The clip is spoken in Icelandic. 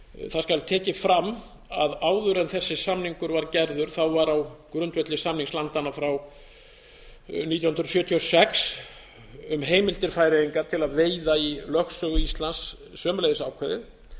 það skal tekið fram að áður en þessi samningur var gerður var á grundvelli samnings landanna frá nítján hundruð sjötíu og sex um heimildir færeyinga til að veiða í lögsögu íslands sömuleiðis ákveðið